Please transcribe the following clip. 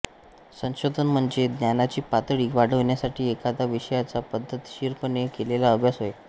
संशोधन म्हणजे ज्ञानाची पातळी वाढवण्यासाठी एखाद्या विषयाचा पद्धतशीरपणे केलेला अभ्यास होय